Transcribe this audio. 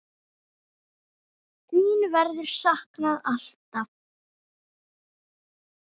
Þín verður saknað, alltaf.